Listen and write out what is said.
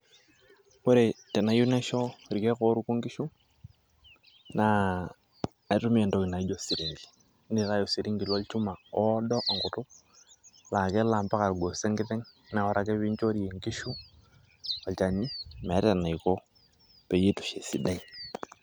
Ore tenayieu naisho irkiek oorukuko inkishu, keitumia entoki naijio osirinki naa osirinji lonchuma oodo enkutuk laa kelo ambaka irgoso enkiteng' na ore ake pee enchorie enkishu olchani meeta enaiko peyie eitu eisho esidai.